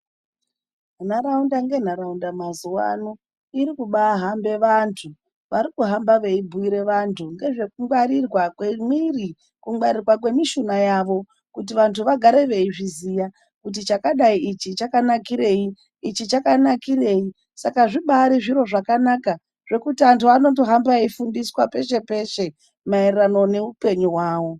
Nharaunda ngenharaunda mazuwano iri kubaahambe vanthu. Varikuhamba veibhiire vanthu ngezvekungwarirwa kwemuiri, kungwarirwa kwemishuna yavo. Kuti vanthu vagare veizviziya kuti chakadai ichi chakanakirei, ichi chakanakirei. Saka zvibaari zviro zvakanaka zvekuti anhu anondohamba eifundiswa peshe peshe, maererano neupenyu hwavo.